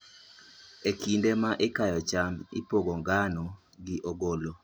E kinde ma ikayo cham, ipogo ngano gi ogolo.